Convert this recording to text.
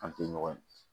An tɛ ɲɔgɔn ye